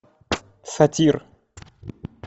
сатир